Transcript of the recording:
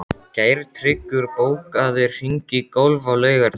Geirtryggur, bókaðu hring í golf á laugardaginn.